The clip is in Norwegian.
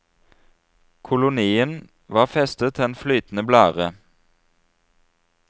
Kolonien var festet til en flytende blære.